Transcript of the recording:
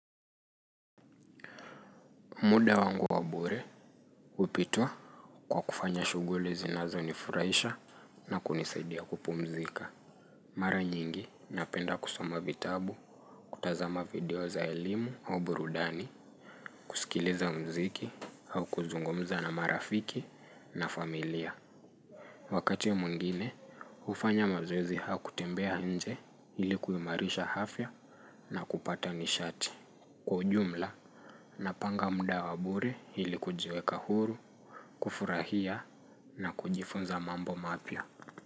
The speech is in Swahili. Muda wangu wa bure hupitwa kwa kufanya shughuli zinazo nifurahisha na kunisadia kupumzika. Mara nyingi napenda kusoma vitabu, kutazama video za elimu au burudani, kusikiliza mziki au kuzungumza na marafiki na familia. Wakati ya mwingine, ufanya mazoezi au kutembea nje ili kuimarisha afya na kupata nishati. Kwa ujumla, napanga muda wa bure hili kujiweka huru, kufurahia na kujifunza mambo mapya.